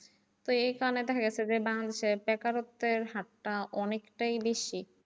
তো এই কারনে দেখা গেছে যে বাংলাদেশে বেকারত্বের হারটা অনেকটাই বেশি।